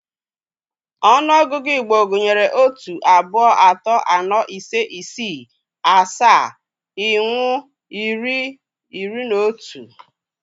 . The Igbo counting system used otu, atọ, atọ, aanọ, ise, isii, asaa, ịnwụ, iri, iri na otu